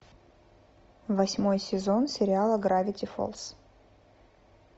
восьмой сезон сериала гравити фолз